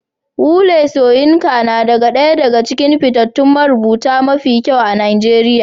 Wole Soyinka nada ɗaya daga cikin fitattun marubuta mafi kyau a Najeriya